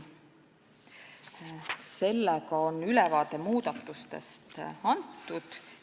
Sellega on ülevaade muudatustest antud.